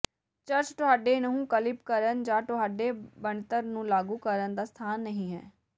church ਤੁਹਾਡੇ ਨਹੁੰ clip ਕਰਨ ਜਾਂ ਤੁਹਾਡੇ ਬਣਤਰ ਨੂੰ ਲਾਗੂ ਕਰਨ ਦਾ ਸਥਾਨ ਨਹੀਂ ਹੈ